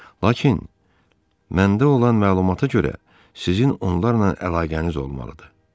Lakin məndə olan məlumata görə, sizin onlarla əlaqəniz olmalıdır.